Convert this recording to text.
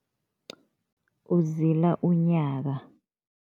Uzila unyaka.